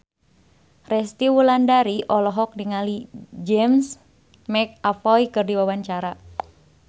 Resty Wulandari olohok ningali James McAvoy keur diwawancara